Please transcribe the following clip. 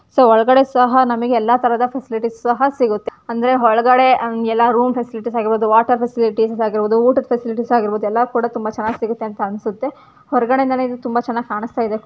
So ಒಳಗಡೆ ಸಹ ನಮಗೆ ಎಲ್ಲ ಫ್ಯಾಸಿಲಿಟೀಸ್ ಸಹ ಸಿಗುತ್ತೆ. ಅಂದ್ರೆ ಒಳಗಡೆ ಎಲ್ಲ ರೂಮ್ ಫೆಸಿಲಿಟೀಸ್ ಆಗಿರ್ಬಹುದು ವಾಟರ್ ಫೆಸಿಲಿಟೀಸ್ ಆಗಿರ್ಬಹುದು ಊಟದ ಫೆಸಿಲಿಟಿಸ್ ಆಗಿರ್ಬಹುದು ಎಲ್ಲ ಕೂಡ ತುಂಬಾ ಚೆನ್ನಗಿ ಸಿಗುತ್ತೆ ಅಂತ ಅನ್ಸುತ್ತೆ. ಹೊರಗಡೆ ಇಂದಾನೆ ತುಂಬಾ ಚೆನ್ನಾಗಿ ಕಾಣಸ್ತಾಯಿದೆ.